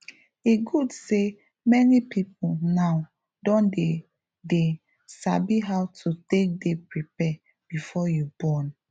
e good say many people now don dey dey sabi how to take dey prepare before you born